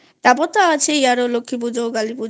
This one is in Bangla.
তারপর তো আছেই লক্ষ্মী পুজো কালি পুজো